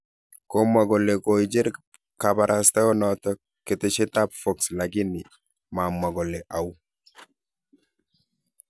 Komwa kole koicher kabarastaenoto ketesyetab Fox lakini mamwo kole au